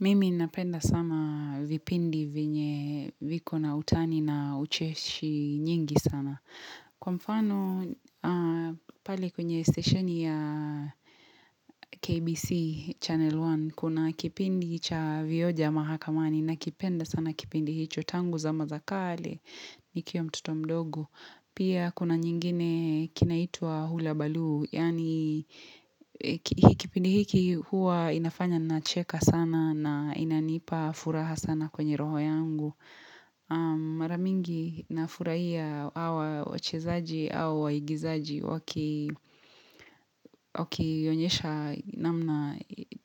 Mimi napenda sana vipindi vyenye viko na utani na ucheshi nyingi sana. Kwa mfano, pale kwenye stesheni ya KBC Channel One, kuna kipindi cha vioja mahakamani nakipenda sana kipindi hicho tangu zama za kale, nikiwa mtoto mdogo. Pia kuna nyingine kinaitwa hula baluu, yaani kipindi hiki huwa kinafanya nacheka sana na inanipa furaha sana kwenye roho yangu. Maramingi nafurahia hawa wachezaji au waigizaji waki wakionyesha namna